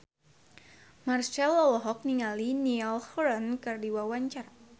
Marchell olohok ningali Niall Horran keur diwawancara